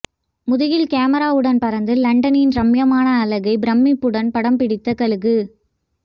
முதுகில் கேமராவுடன் பறந்து லண்டனின் ரம்மியமான அழகை பிரமிப்புடன் படம் பிடித்த கழுகு